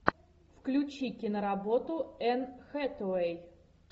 включи киноработу энн хэтэуэй